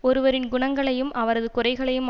ஒருவரின் குணங்களையும் அவரது குறைகளையும்